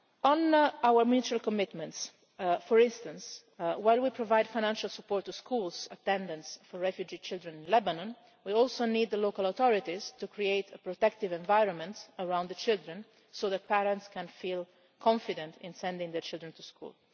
On our mutual commitments for instance, while we provide financial support to schools for attendance for refugee children in Lebanon, we also need the local authorities to create a protective environment around the children, so the parents can feel confident about sending their children to school.